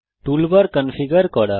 toolbar configure করা